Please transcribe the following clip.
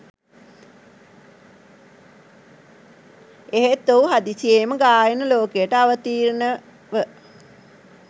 එහෙත් ඔහු හදිසියේම ගායන ලෝකයට අවතීර්ණ ව